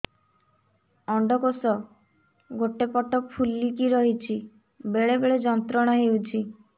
ଅଣ୍ଡକୋଷ ଗୋଟେ ପଟ ଫୁଲିକି ରହଛି ବେଳେ ବେଳେ ଯନ୍ତ୍ରଣା ହେଉଛି